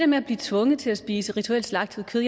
med at blive tvunget til at spise rituelt slagtet kød